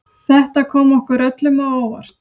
Þetta kom okkur öllum á óvart